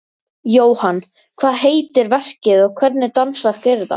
Jóhann, hvað heitir verkið og hvernig dansverk er þetta?